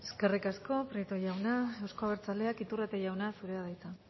eskerrik asko prieto jauna euzko abertzaleak iturrate jauna zurea da hitza